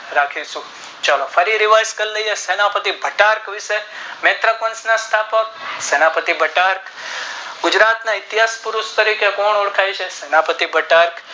રાખીશું ચાલો ફરી એક વાર વાત કરી લઈએ સેનાપતિ ઘટાક્ષ વિષે નેત્રોકોના વંશ ના સ્થાપક જે ઘટાક્ષ ગુજરાત ના સેનાએ પતિ તરીકે કોણ ઓળખાય છે ઘટાક્ષ